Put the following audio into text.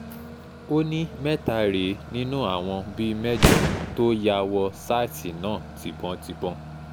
ó ní mẹ́ta rèé nínú àwọn bíi mẹ́jọ tó ya wọ sàìtì náà tibon-tịbọn